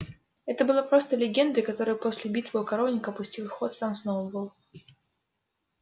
это было просто легендой которую после битвы у коровника пустил в ход сам сноуболл